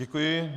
Děkuji.